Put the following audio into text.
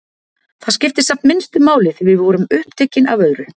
Það skipti samt minnstu máli því við vorum uppteknar af öðru.